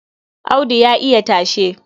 Audu ya iya tashe.